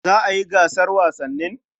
Za a yi gasar wasannin?